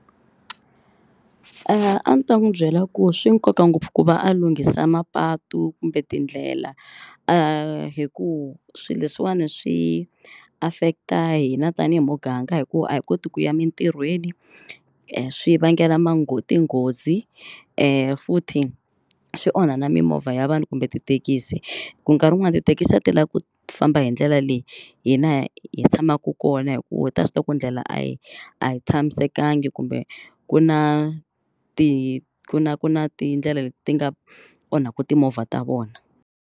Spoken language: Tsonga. A ni ta n'wi byela ku swi nkoka ngopfu ku va a lunghisa mapatu kumbe tindlela hi ku swilo leswiwani swi affect-a hina tanihi muganga hi ku a hi koti ku ya emitirhweni. Swi vangela tinghozi futhi swi onha na mimovha ya vanhu kumbe tithekisi. Ku nkarhi wun'wani tithekisi a ti lavi ku famba hi ndlela leyi hina hi tshamaka kona hi ku ta swi tiva ku ndlela a yi a yi tshamisekanga kumbe ku na ti ku na ku na tindlela leti ti nga onhaka timovha ta vona.